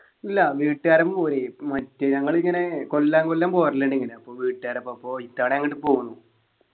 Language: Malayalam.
അല്ല വീട്ടുകാരെ ഒപ്പം പോയി ഇപ്പം മറ്റേ ഞങ്ങളിങ്ങനെ കൊല്ലാം കൊല്ലം പോവാറില്ലേണ് ഇങ്ങനെ അപ്പൊ വീട്ടുകാരുടെ ഒപ്പം പോയി ഇത്തവണ അങ്ട്ട് പോന്നു